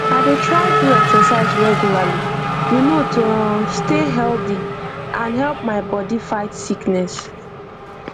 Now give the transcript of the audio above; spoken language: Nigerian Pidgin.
i dey try do exercise regularly you know to um stay healthy and to help my body fight sickness